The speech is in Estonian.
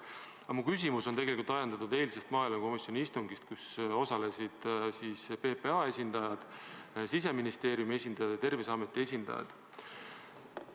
Aga mu küsimus on tegelikult ajendatud eilsest maaelukomisjoni istungist, kus osalesid PPA, Siseministeeriumi ja Terviseameti esindajad.